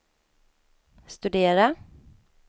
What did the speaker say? studera